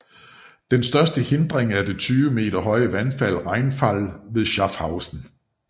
Den største hindring er det 20 meter høje vandfald Rheinfall ved Schaffhausen